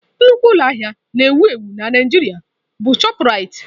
Nnukwu ụlọ ahịa na-ewu ewu na Naịjirịa bụ chopụ Raitị.